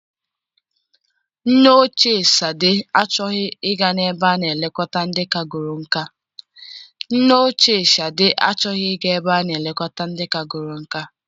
Nne ochie Sade achọghị ị ga na-ebe a na elekọta ndị kagoro nkà.